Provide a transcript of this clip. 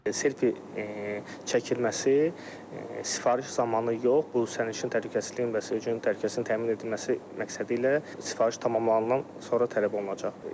Selfi çəkilməsi sifariş zamanı yox, bu sərnişin təhlükəsizliyini və sürücünün təhlükəsizliyini təmin edilməsi məqsədilə sifariş tamamlandıqdan sonra tələb olunacaq.